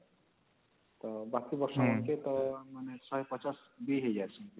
ତ ବାକି ବର୍ଷ ୧୫୦ ବି ହେଇଯାଉଛନ ପିଲା